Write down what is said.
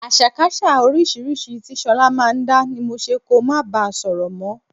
Àṣàkaṣà oríṣiríṣi tí ṣọlá máa ń dá ni mo ṣe kó máa bá sọ̀rọ̀ mọ́